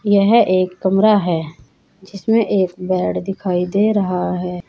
यह एक कमरा है जिसमें एक बेड दिखाई दे रहा है।